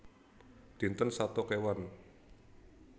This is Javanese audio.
Dinten Sato Kéwan